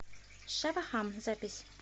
шава хам запись